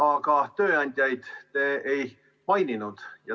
Aga tööandjaid te ei maininud.